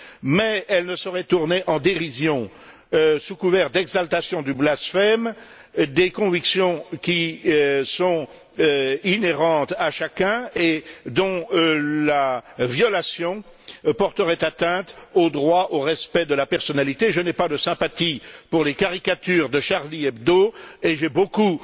Mais elle ne saurait tourner en dérision, sous couvert d'exaltation du blasphème, des convictions qui appartiennent à chacun et dont la violation porterait atteinte au droit au respect de la personne. Je n'ai pas de sympathie pour les caricatures de Charlie Hebdo et j'ai beaucoup